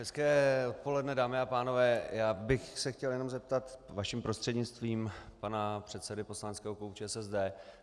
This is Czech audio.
Hezké odpoledne, dámy a pánové, já bych se chtěl jenom zeptat vaším prostřednictvím pana předsedy poslaneckého klubu ČSSD.